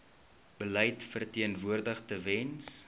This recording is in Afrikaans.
beleid verteenwoordig tewens